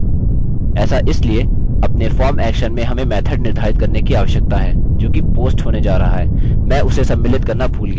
ऐसा इसलिए अपने form action में हमें method निर्धारित करने की आवश्यकता है जोकि post होने जा रहा है